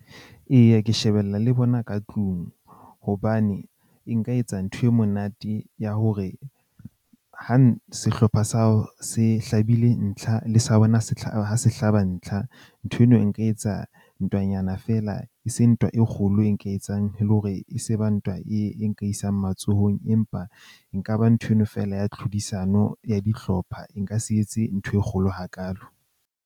Eya, ke shebella le bona ka tlung hobane e nka etsa ntho e monate ya hore ha sehlopha sa hao se hlabile ntlha le sa bona, se hla se hlaba ntlha, ntho eno e nka etsa ntwanyana fela, eseng ntwa e kgolo e nka e etsang e le hore e se ba ntwa e nka isang matsohong. Empa e nka ba nthweno fela ya tlhodisano ya dihlopha. E nka se etse ntho e kgolo hakaalo.